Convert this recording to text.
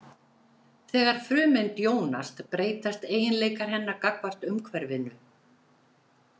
Þegar frumeind jónast breytast eiginleikar hennar gagnvart umhverfinu.